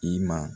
I ma